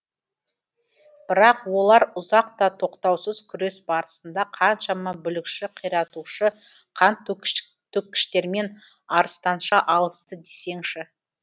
бірақ олар ұзақ та тоқтаусыз күрес барысында қаншама бүлікші қиратушы қантөккіштермен арыстанша алысты десеңізші